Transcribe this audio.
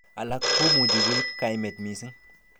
Alak komuch koib kaimet missing.